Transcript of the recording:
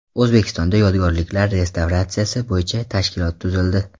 O‘zbekistonda yodgorliklar restavratsiyasi bo‘yicha tashkilot tuzildi.